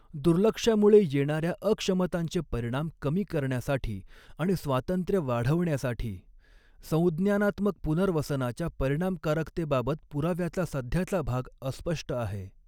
दुर्लक्षामुळे येणाऱ्या अक्षमतांचे परिणाम कमी करण्यासाठी आणि स्वातंत्र्य वाढवण्यासाठी संज्ञानात्मक पुनर्वसनाच्या परिणामकारकतेबाबत पुराव्याचा सध्याचा भाग अस्पष्ट आहे.